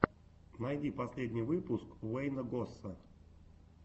найди последний выпуск уэйна госса